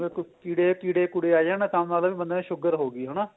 ਜਿਵੇਂ ਕੀੜੇ ਕੀੜੇ ਕੂੜੇ ਆ ਜਾਣ ਤਾਂ ਮਤਲਬ ਬੀ ਬੰਦੇ ਨੂੰ sugar ਹੋ ਗਈ ਹਨਾ